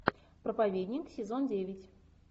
проповедник сезон девять